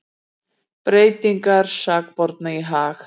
Breytingarnar sakborningi í hag